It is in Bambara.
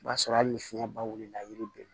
O b'a sɔrɔ hali ni fiɲɛ ba wulila yiri bɛ